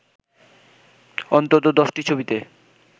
অন্তত ১০টি ছবিতে